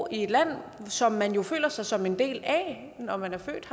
i et land som man jo føler sig som en del af når man er født